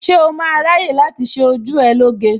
Ṣé o máa ráyè láti ṣé ojú ẹ lóge?